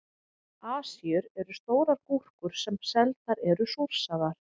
Asíur eru stórar gúrkur sem seldar eru súrsaðar.